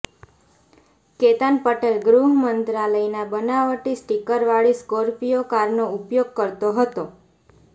કેતન પટેલ ગૃહ મંત્રાલયના બનાવટી સ્ટિકરવાળી સ્કોર્પિયો કારનો ઉપયોગ કરતો હતો